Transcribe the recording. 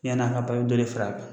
Yann'a ka ban i bɛ dɔ de fara a kan